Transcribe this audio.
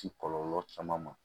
Ci kɔlɔlɔ caman ma